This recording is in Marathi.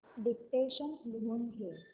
डिक्टेशन लिहून घे